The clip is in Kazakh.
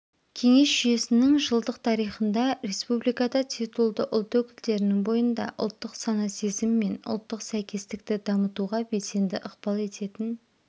кеңес жүйесінің жылдық тарихында республикада титулды ұлт өкілдерінің бойында ұлттық сана-сезім мен ұлттық сәйкестікті дамытуға белсенді ықпал ететін